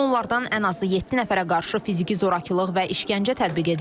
Onlardan ən azı yeddi nəfərə qarşı fiziki zorakılıq və işgəncə tətbiq edilib.